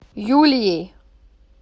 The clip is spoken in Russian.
юлией